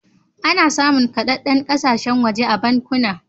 Ana samun kaɗaɗen kasashe waje a bankuna.